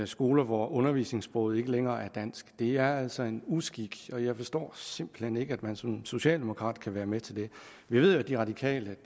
skoler hvor undervisningssproget ikke længere er dansk det er altså en uskik og jeg forstår simpelt hen ikke at man som socialdemokrat kan være med til det vi ved at de radikale